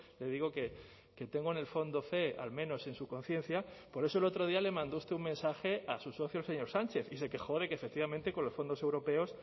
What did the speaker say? le digo que tengo en el fondo fe al menos en su conciencia por eso el otro día le mandó usted un mensaje a su socio el señor sánchez y se quejó de que efectivamente con los fondos europeos